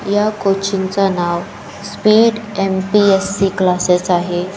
या कोचिंगच नाव स्पीड एम.पी.एस.सी. क्लाससेस आहे.